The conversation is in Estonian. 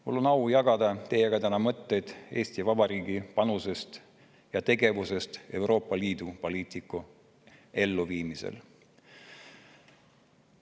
Mul on au jagada teiega täna mõtteid Eesti Vabariigi panusest ja tegevusest Euroopa Liidu poliitika elluviimisel.